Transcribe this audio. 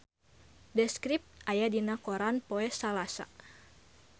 The Script aya dina koran poe Salasa